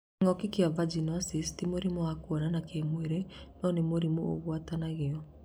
Kĩng'oki kĩa Vinagosisi ti mũrimo wa kwonana kĩmwĩrĩ nonĩ mũrimo ũgwatanagio